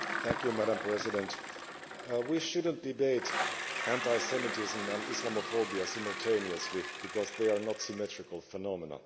Madam President, we should not debate anti Semitism and Islamophobia simultaneously because they are not symmetrical phenomena.